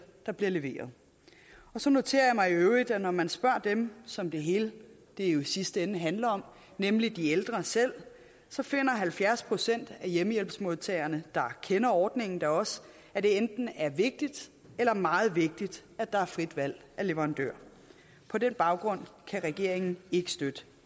der bliver leveret så noterer jeg mig i øvrigt at når man spørger dem som det hele jo i sidste ende handler om nemlig de ældre selv så finder halvfjerds procent af hjemmehjælpsmodtagerne der kender ordningen da også at det enten er vigtigt eller meget vigtigt at der er frit valg af leverandør på den baggrund kan regeringen ikke støtte